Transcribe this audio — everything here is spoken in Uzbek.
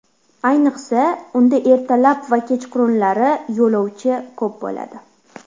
Ayniqsa, unda ertalab va kechqurunlari yo‘lovchi ko‘p bo‘ladi.